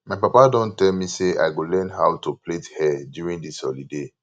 my papa don tell me say i go learn how to plait hair during dis holiday